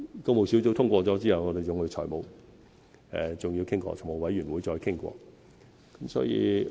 工務小組委員會通過後，我們還要與財務委員會再商討。